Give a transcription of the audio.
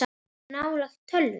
Ertu nálægt tölvu?